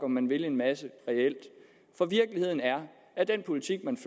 man vil en masse reelt for virkeligheden er at den politik man